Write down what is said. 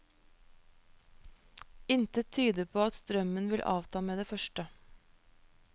Intet tyder på at strømmen vil avta med det første.